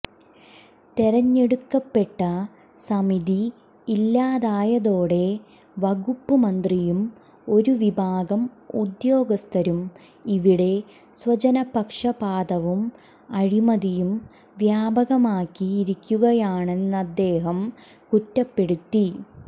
തെരഞ്ഞെടുക്കപ്പെട്ട സമിതി ഇല്ലാതായതോടെ വകുപ്പ് മന്ത്രിയും ഒരു വിഭാഗം ഉദ്യോഗസ്ഥരും ഇവിടെ സ്വജനപക്ഷപാതവും അഴിമതിയും വ്യാപകമാക്കിയിരിക്കുകയാണെന്നദ്ദേഹം കുറ്റപ്പെടുത്തി